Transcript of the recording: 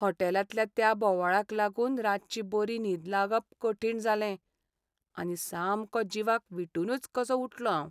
होटॅलांतल्या त्या बोवाळाक लागून रातची बरी न्हीद लागप कठीण जालें, आनी सामको जिवाक विटूनुच कसो उठलों हांव.